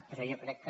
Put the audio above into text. però jo crec que